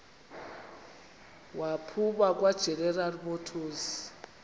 waphuma kwageneral motors